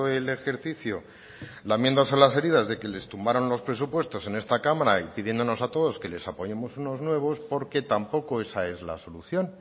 el ejercicio lamiéndose las heridas de que les tumbaron los presupuestos en esta cámara y pidiéndonos a todos que les apoyemos unos nuevos porque tampoco esa es la solución